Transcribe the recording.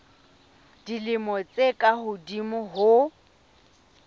dilemo tse ka hodimo ho